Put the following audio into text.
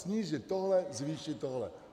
Snížit tohle, zvýšit tohle.